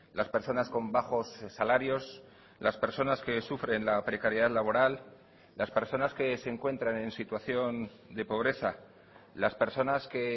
las personas con bajos salarios las personas que sufren la precariedad laboral las personas que se encuentran en situación de pobreza las personas que